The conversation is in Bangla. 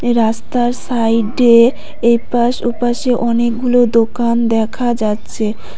রাস্তার সাইডে এপাশ ওপাশে অনেকগুলো দোকান দেখা যাচ্ছে।